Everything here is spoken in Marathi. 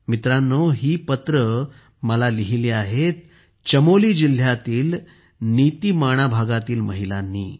मित्रांनो मला हीपत्रे लिहिली आहेत चमोली जिल्ह्यातील नीतीमाणा भागातील महिलांनी